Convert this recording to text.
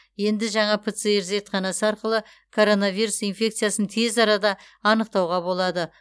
енді жаңа пцр зертханасы арқылы коронавирус инфекциясын тез арада анықтауға болады